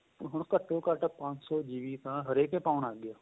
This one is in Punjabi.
ਹੁਣ ਘੱਤੋ ਘੱਟ ਪੰਜ ਸ਼ੋ GB ਤਾਂ ਹਰੇਕ ਏ ਪਾਉਣ ਲੱਗ ਗਿਆ